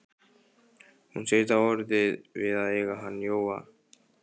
Hún sagðist hafa orðið svona við að eiga hann Jóa.